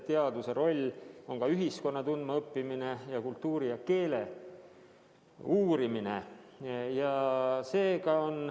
Teaduse roll on ka ühiskonna tundmaõppimine ning kultuuri ja keele uurimine.